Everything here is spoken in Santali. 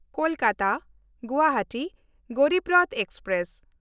ᱠᱳᱞᱠᱟᱛᱟ–ᱜᱳᱣᱟᱦᱟᱴᱤ ᱜᱚᱨᱤᱵ ᱨᱚᱛᱷ ᱮᱠᱥᱯᱨᱮᱥ